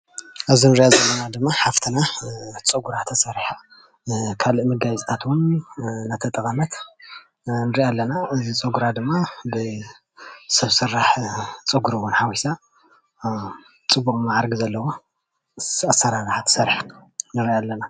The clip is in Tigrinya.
እዛ ንሪኣ ዘለና ሓፍትና ፀጉራ ተሰሪሓ ካልኦት መጋየፅታት እውን እንዳተጠቐመት ንርኣ ኣለና። እዚ ፀግራ ድማ ብሰብ ስራሕ እውን ወሲኻ ፅቡቅ ማዕሪጋ ንሪኣ አለና።